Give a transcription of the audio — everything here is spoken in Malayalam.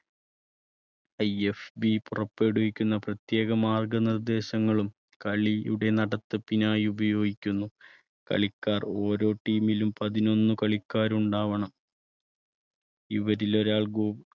IFB പുറപ്പെടുവിക്കുന്ന പ്രത്യേക മാർഗനിർദ്ദേശങ്ങളും കളിയുടെ നടത്തിപ്പിനായി ഉപയോഗിക്കുന്നു. കളിക്കാർ ഓരോ team ലും പതിനൊന്ന് കളിക്കാര് ഉണ്ടാവണം ഇവരിൽ ഒരാൾ goal